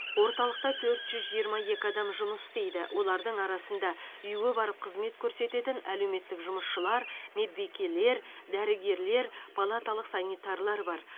орталықта төрт жүз жиырма екі адам жұмыс істейді олардың арасында үйге барып қызмет көрсететін әлеуметтік жұмысшылар медбикелер дәрігерлер палаталық санитарлар бар